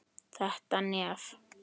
Þetta nef!